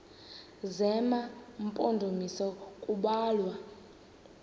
zema mpondomise kubalwa